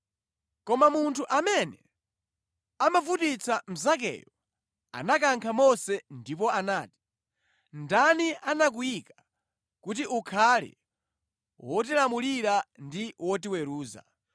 “Koma munthu amene amavutitsa mnzakeyo anakankha Mose ndipo anati, ‘Ndani anakuyika kuti ukhale wotilamulira ndi wotiweruza.